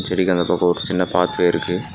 செடிக்கு அந்த பக்கம் ஒரு சின்ன பாத்வேருக்கு .